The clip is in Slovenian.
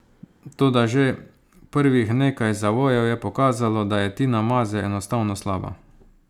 Toda že prvih nekaj zavojev je pokazalo, da je Tina Maze enostavno slaba.